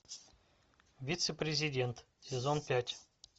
вице президент сезон пять